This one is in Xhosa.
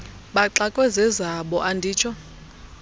baxakwe zezabo anditsho